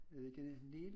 Er det ikke nel